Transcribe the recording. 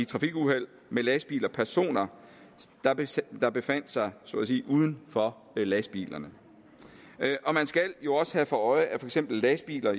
trafikuheld med lastbiler personer der befandt sig så at sige uden for lastbilerne man skal jo også have for øje at lastbiler